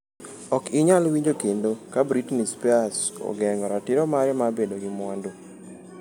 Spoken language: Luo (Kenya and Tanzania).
Ok inyal winjo kendo ka Britney Spears ogeng’o ratiro mare mar bedo gi mwandu.